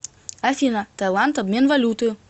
афина таиланд обмен валюты